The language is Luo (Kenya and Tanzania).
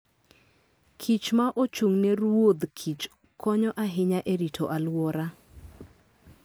kich ma ochung' ne ruodh kich konyo ahinya e rito alwora.